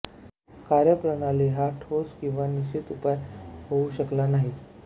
कार्यप्रणाली हा ठोस किंवा निश्चित उपाय होऊ शकला नाही